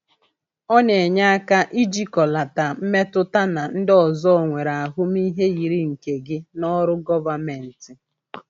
Ọ na-enye aka ijikọlata mmetụtana ndị ọzọ nwere ahụmịhe yiri nke gị n’ọrụ gọvanmentị.